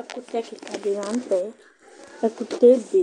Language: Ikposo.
Ɛkʋtɛ kika dɩ la nʋ tɛ Ɛkʋtɛ yɛ ebe